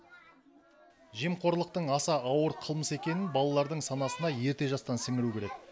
жемқорлықтың аса ауыр қылмыс екенін балалардың санасына ерте жастан сіңіру керек